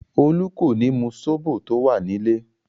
Olú kò ní mu sóbò tó wà nílè.